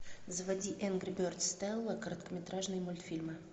заводи энгри бердз стелла короткометражные мультфильмы